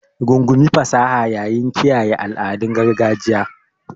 Rungumi fasaha yayin kiyaye al'adun gargajiya.